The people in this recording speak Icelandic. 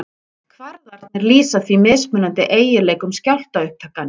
Kvarðarnir lýsa því mismunandi eiginleikum skjálftaupptakanna.